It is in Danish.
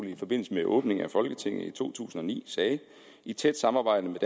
i forbindelse med åbningen af folketinget i to tusind og ni sagde i tæt samarbejde med